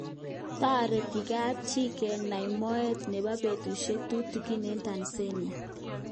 Tareti kapchii kenai moet nepo petusiek tutikin eng Tanzania.